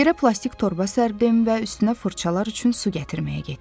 Yerə plastik torba sərdim və üstünə fırçalar üçün su gətirməyə getdim.